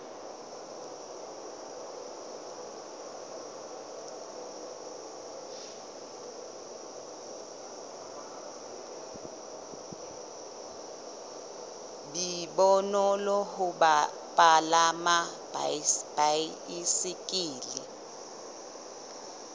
be bonolo ho palama baesekele